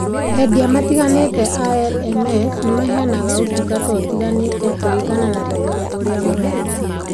Endia matiganĩte a LMS nĩ maheanaga utungata ũtiganĩte kũringana na thogora ũrĩa mũrenda.